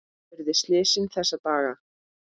Þar urðu slysin þessa daga.